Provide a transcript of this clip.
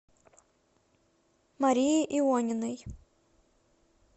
марии иониной